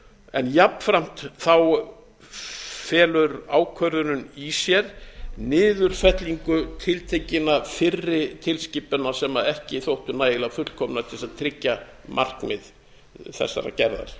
en jafnframt felur ákvörðunin í sér niðurfellingu tiltekinna fyrri tilskipunar sem ekki þóttu nægilega fullkomnar til þess að tryggja markmið þeirrar gerðar